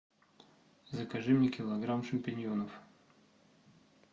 закажи мне килограмм шампиньонов